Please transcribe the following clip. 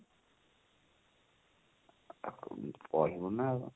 ତାକୁ ଉଁ କହିବୁ ନା